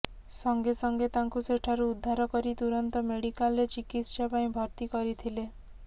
ସଙ୍ଗେସଙ୍ଗେ ତାଙ୍କୁ ସେଠାରୁ ଉଦ୍ଧାର କରି ତୁରନ୍ତ ମେଡିକାଲରେ ଚିକିତ୍ସା ପାଇଁ ଭର୍ତ୍ତି କରିଥିଲେ